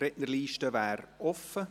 Die Rednerliste wäre offen.